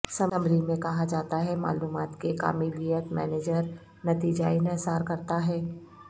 summary میں کہا جاتا ہے معلومات کے کاملیت مینیجر نتیجہ انحصار کرتا ہے